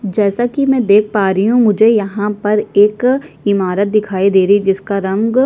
जैसा की मै देख पा रही हु मुझे यहाँ पर एक इमारत दिखाई दे रही है जिसका रंग --